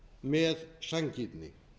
með sanngirni